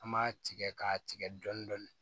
An b'a tigɛ k'a tigɛ dɔɔnin dɔɔnin